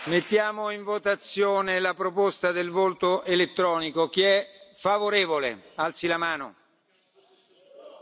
Mr President, yes, I think it would save everybody a lot of time to use this system. We have the system, we've used it before, it works perfectly well.